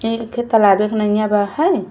इ एखे तालाव एक नैया बा है।